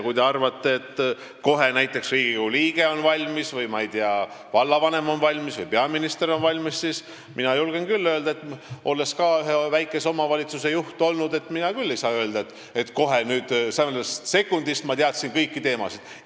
Kui te arvate, et näiteks Riigikogu liige on kohe valmis või, ma ei tea, vallavanem või peaminister on kohe valmis, siis mina, olles ka ühe väikese omavalitsuse juht olnud, ei saa küll öelda, et kohe esimesest sekundist ma teadsin kõiki teemasid.